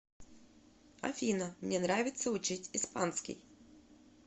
афина мне нравится учить испанский